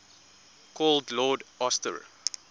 called lord astor